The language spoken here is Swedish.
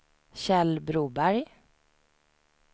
Kjell Broberg